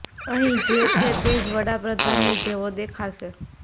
અહીં જે છે તે જ વડા પ્રધાનની જેવો દેખાશે